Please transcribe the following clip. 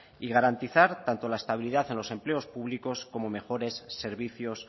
y garantizar tanto la estabilidad en los empleos públicos como mejores servicios